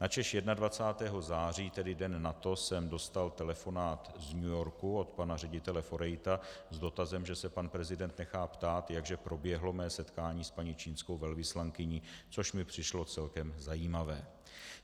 Načež 21. září, tedy den nato, jsem dostal telefonát z New Yorku od pana ředitele Forejta s dotazem, že se pan prezident nechá ptát, jak že proběhlo mé setkání s paní čínskou velvyslankyní, což mi přišlo celkem zajímavé.